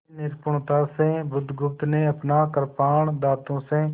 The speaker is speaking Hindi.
बड़ी निपुणता से बुधगुप्त ने अपना कृपाण दाँतों से